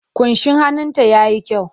Ƙunshin hannunta ya yi kyau.